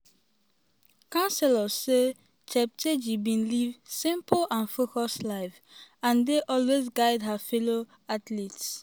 councillors say cheptegei bin live "simple and focused life" and dey always guide her fellow athletes.